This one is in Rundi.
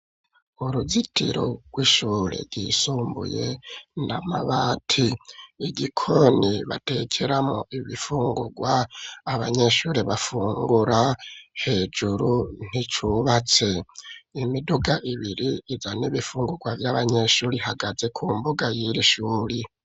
uruzitiro rw'ishure ryisumbuye n,amabati igikoni batekeramwo ibifungurwa abanyeshuri bafungura hejuru nticubatse imiduga ibiri izana ibifungurwa vy'abanyeshuri ihagaze ku mbuga y'iri shure.